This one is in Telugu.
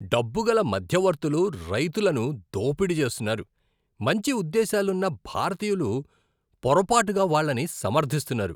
డబ్బుగల మధ్యవర్తులు రైతులను దోపిడీ చేస్తున్నారు, మంచి ఉద్దేశ్యాలున్న భారతీయులు పొరపాటుగా వాళ్ళని సమర్ధిస్తున్నారు.